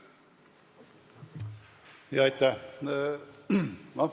Jaa, aitäh!